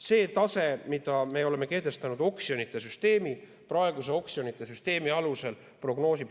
Selle taseme oleme kehtestanud praeguse oksjonite süsteemi alusel.